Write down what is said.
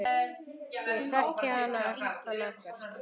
Ég þekki hann ekkert.